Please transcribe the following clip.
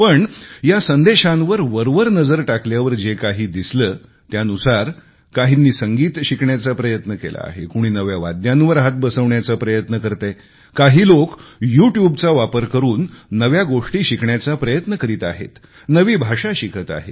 पण या संदेशांवर वरवर नजर टाकल्यावर जे काही दिसले त्यानुसार काहींनी संगीत शिकण्याचा प्रयत्न केला आहे कुणी नव्या वाद्यांवर हात बसवण्याचा प्रयत्न करतेय काही लोक युट्यूब चा वापर करून नव्या गोष्टी शिकण्याचा प्रयत्न करीत आहेत नवी भाषा शिकत आहेत